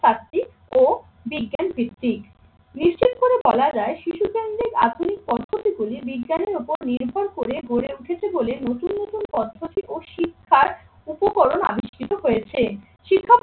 কার্তিক ও বিজ্ঞান ভিত্তিক। নিশ্চিত করে বলা যায় শিশু কেন্দ্রিক আধুনিক পদ্ধতি গুলি বিজ্ঞানের উপর নির্ভর করে গড়ে উঠেছে বলে নতুন নতুন পদ্ধতি ও শিক্ষার উপকরণ আবিষ্কৃত হয়েছে।